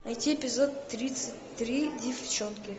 найти эпизод тридцать три деффчонки